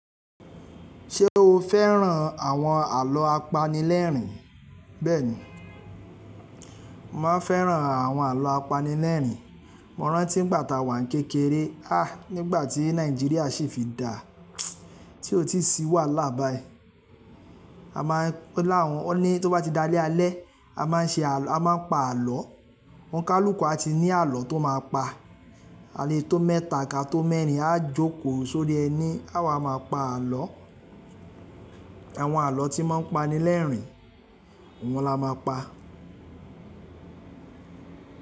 Ṣé o fẹ́ràn àwọn àlọ́ apanilẹ́rìn? Bẹ́ẹ̀ni, mò máa ń fẹ́ràn àwọn àlọ́ apanilẹ́rìn. Mo rántí ìgbà tá wà kékeré, há! Nígbà tí Nàìjíríà ṣi fi dá, tí òtí sí wàhálà báyìí. A máa ń, o láwọn ọ̀ní tó bá ti dalé alẹ́, a máa ń ṣe àlọ́, a máa ń pa àlọ́. Ọ̀nikàlúkú a ti ní àlọ́ tó máa pa. Alẹ́ tó meta ká tó merin, a jòkòó sórí ẹní, a wá máa pa àlọ́. Àwọn àlọ́ tí máa ń pani lẹ́rìn, oun la máa pa.